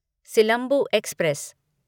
silambu express